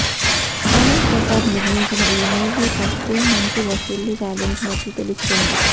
ఆనంద్ ప్రసాద్ నిర్మించిన ఈ movie first day మంచి వసూళ్లు సాధించినట్లు తెలుస్తుంది